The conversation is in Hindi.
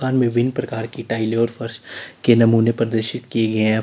विभिन्न प्रकार टाइलें और फर्श के नमूने प्रदर्शित किए गए हैं।